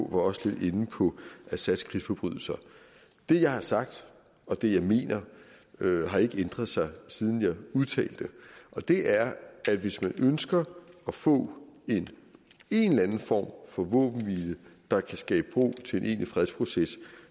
var også lidt inde på assads krigsforbrydelser det jeg har sagt og det jeg mener har ikke ændret sig siden jeg udtalte det og det er at hvis man ønsker at få en en eller anden form for våbenhvile der kan skabe ro til en egentlig fredsproces